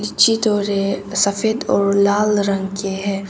लीची थोड़े सफेद और लाल रंग की है।